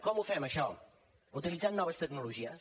com ho fem això utilitzant noves tecnologies